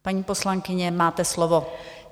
Paní poslankyně, máte slovo.